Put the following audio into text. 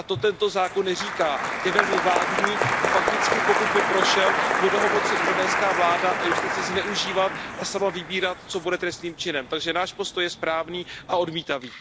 A to tento zákon neříká, je velmi vágní a fakticky pokud by prošel, bude ho moci indonéská vláda a justice zneužívat a sama vybírat, co bude trestným činem. Takže náš postoj je správný a odmítavý.